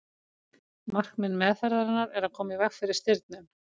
markmið meðferðarinnar er að koma í veg fyrir stirðnun